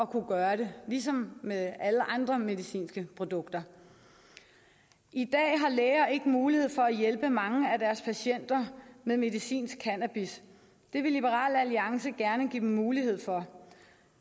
kunne gøre det ligesom med alle andre medicinske produkter i dag har læger ikke mulighed for at hjælpe mange af deres patienter med medicinsk cannabis det vil liberal alliance gerne give dem mulighed for